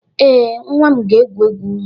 Ee, nwa m na-egwu egwu.